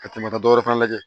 Ka tɛmɛ ka dɔwɛrɛ fana lajɛ